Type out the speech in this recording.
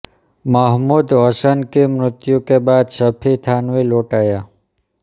महमूद हसन की मृत्यु के बाद शफी थानवी लौट आया